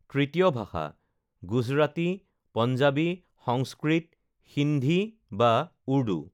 তৃতীয় ভাষাঃ গুজৰাটী, পঞ্জাবী, সংস্কৃত, সিন্ধি বা উৰ্দু